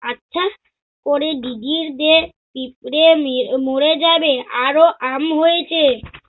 ওপরে দিদির যে পিঁপড়ে মের~ মরে যাবে আরও আম হয়েছে।